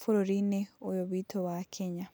bũrũri-inĩ ũyũ witũ wa Kenya.